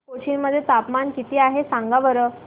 कोचीन मध्ये तापमान किती आहे सांगा बरं